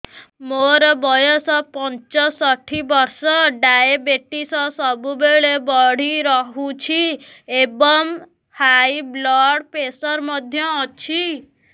ମୋର ବୟସ ପଞ୍ଚଷଠି ବର୍ଷ ଡାଏବେଟିସ ସବୁବେଳେ ବଢି ରହୁଛି ଏବଂ ହାଇ ବ୍ଲଡ଼ ପ୍ରେସର ମଧ୍ୟ ଅଛି